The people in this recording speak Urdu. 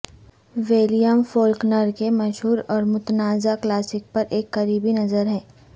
ولیم فولکنر کے مشہور اور متنازعہ کلاسک پر ایک قریبی نظر ہے